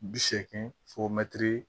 Bi seegin fo mɛtiri